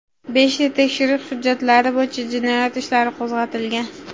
Beshta tekshirish hujjatlari bo‘yicha jinoyat ishlari qo‘zg‘atilgan.